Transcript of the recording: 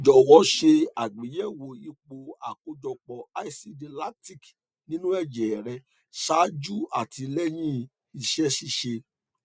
jọwọ ṣe àgbéyẹwò ipò àkójọpọ asidi lactic nínú ẹjẹ rẹ ṣáájú àti lẹyìn ìṣeṣiṣẹ